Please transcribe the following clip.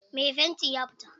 Mai fanti ya fita.